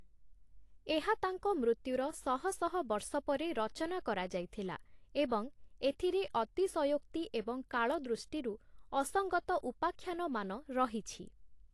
ଏହା ତାଙ୍କ ମୃତ୍ୟୁର ଶହ ଶହ ବର୍ଷ ପରେ ରଚନା କରାଯାଇଥିଲା ଏବଂ ଏଥିରେ ଅତିଶୟୋକ୍ତି ଏବଂ କାଳଦୃଷ୍ଟିରୁ ଅସଙ୍ଗତ ଉପାଖ୍ୟାନମାନ ରହିଛି ।